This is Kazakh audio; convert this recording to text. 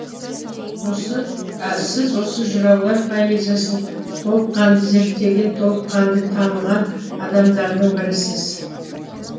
сіз осы жыраулар поэзиясын толыққанды зерттеген толыққанды таныған адамдардың бірісіз